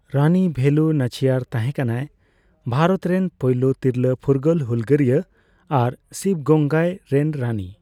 ᱨᱟᱱᱤ ᱵᱷᱮᱞᱩ ᱱᱟᱪᱤᱭᱟᱨ ᱛᱟᱦᱮᱸᱠᱟᱱᱟᱭ ᱵᱷᱟᱨᱚᱛ ᱨᱮᱱ ᱯᱳᱭᱞᱳ ᱛᱤᱨᱞᱟᱹ ᱯᱷᱩᱨᱜᱟᱹᱞ ᱦᱩᱞᱜᱟᱹᱨᱤᱭᱟᱹ ᱟᱨ ᱥᱤᱵᱜᱚᱝᱜᱟᱭ ᱨᱮᱱ ᱨᱟᱱᱤ᱾